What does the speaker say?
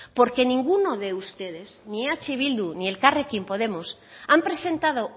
porque ninguno de ustedes ni eh bildu ni elkarrekin podemos han presentado